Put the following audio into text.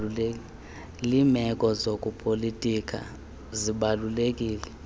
limeko zobupolitika zibalulekile